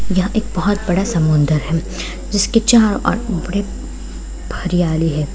यह एक बहुत बड़ा समुंदर है जिसके चारो ओर बड़े हरयाली है।